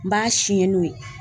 N b'a siɲɛn n'o ye.